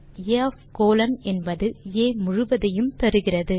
ஆகவே ஆ ஒஃப் கோலோன் என்பது ஆ முழுவதையும் தருகிறது